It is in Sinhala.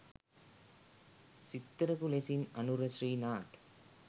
සිත්තරකු ලෙසින් අනුර ශ්‍රීනාත්